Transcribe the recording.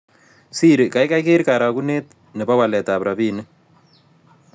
Siri gaigai ker karagunet ne po waletap rabinik